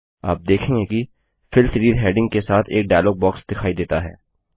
आप देखेंगे कि फिल सीरीज हैडिंग के साथ एक डायलॉग बॉक्स दिखाई देता है